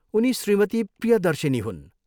उनी श्रीमती प्रियदर्शिनी हुन्।